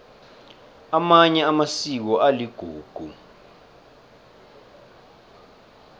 amanye amasiko aligugu